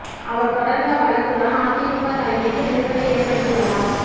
அவர் தொடர்ந்த வழக்கு தான் அதிமுக தலைமைக்கு நெருடலை ஏற்படுத்தியுள்ளதாம்